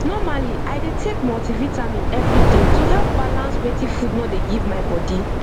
normaly i dey take multivitamin every day to help balance wetin food nor dey give my body